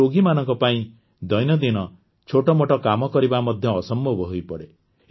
ଏହି ରୋଗୀମାନଙ୍କ ପାଇଁ ଦୈନନ୍ଦିନ ଛୋଟମୋଟ କାମ କରିବା ମଧ୍ୟ ଅସମ୍ଭବ ହୋଇପଡ଼େ